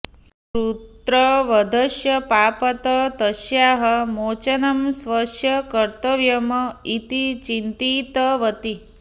पुत्रवधस्य पापात् तस्याः मोचनं स्वस्य कर्तव्यम् इति चिन्तितवती